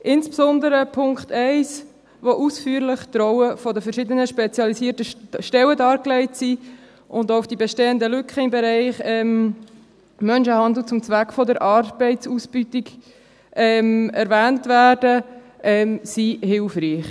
Insbesondere jene zum Punkt 1, wo die Rollen der verschiedenen spezialisierten Stellen ausführlich dargelegt sind und auch die bestehenden Lücken im Bereich Menschenhandel zum Zweck der Arbeitsausbeutung erwähnt werden, ist hilfreich.